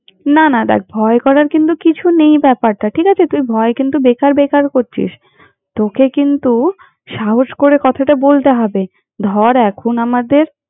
না না দ্যাখ ভয় করার কিন্তু কিছু নেই ব্যাপারটা ঠিক আছে, তুই ভয় কিন্তু বেকার বেকার করছিস। তোকে কিন্তু, সাহস করে কথাটা বলতে হবে। ধর এখন আমাদের।